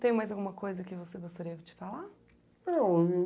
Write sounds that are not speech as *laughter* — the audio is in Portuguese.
Tem mais alguma coisa que você gostaria de falar? *unintelligible*